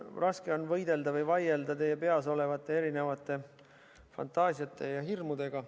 Raske on võidelda või vaielda teie peas olevate erinevate fantaasiate ja hirmudega.